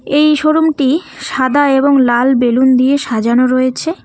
এই শোরুম -টি সাদা এবং লাল বেলুন দিয়ে সাজানো রয়েছে।